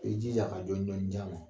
I jija ka jɔni jɔni ja la